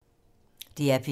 DR P3